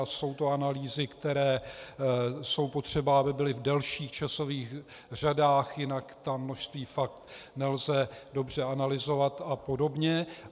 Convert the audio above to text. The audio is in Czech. A jsou to analýzy, které jsou potřeba, aby byly v delších časových řadách, jinak ta množství fakt nelze dobře analyzovat a podobně.